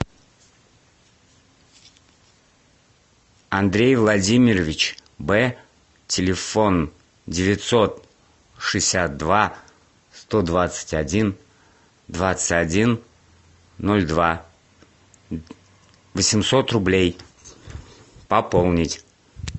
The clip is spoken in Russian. андрей владимирович б телефон девятьсот шестьдесят два сто двадцать один двадцать один ноль два восемьсот рублей пополнить